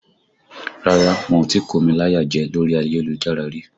Rárá, wọn ò tí kómi láyà jẹ lórí ayélujára rí